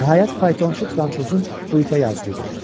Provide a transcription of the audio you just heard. Nəhayət, faytonçu Franşozun bu itə yazığı gəlir.